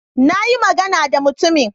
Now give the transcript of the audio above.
Na yi magana da mutumin.